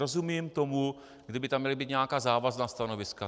Rozumím tomu, kdyby tam měla být nějaká závazná stanoviska.